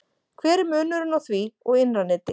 hver er munurinn á því og innra neti